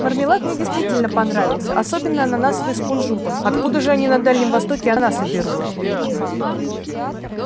мармелад мне действительно понравился особенно ананасовый с кунжутом откуда же они на дальнем востоке ананасы берут